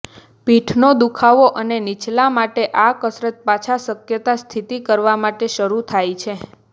પીઠનો દુખાવો અને નીચલા માટે આ કસરત પાછા શક્યતા સ્થિતિ કરવા માટે શરૂ થાય છે